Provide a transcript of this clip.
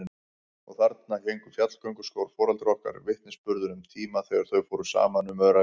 Og þarna héngu fjallgönguskór foreldra okkar, vitnisburður um tíma þegar þau fóru saman um öræfin.